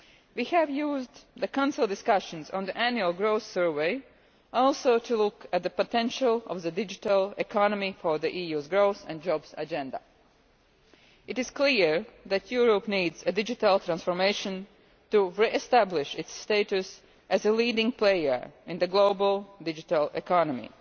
We have used the Council discussions on the Annual Growth Survey to look too at the potential of the digital economy for the EU growth and jobs agenda. It is clear that Europe needs a digital transformation to re establish its status as a leading player in the global digital economy.